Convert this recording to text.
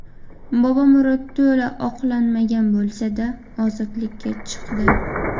Bobomurod to‘la oqlanmagan bo‘lsa-da, ozodlikka chiqdi.